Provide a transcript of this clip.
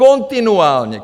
Kontinuálně.